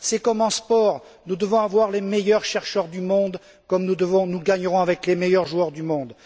C'est comme en sport nous devons avoir les meilleurs chercheurs du monde, comme nous gagnerons avec les meilleurs joueurs du monde.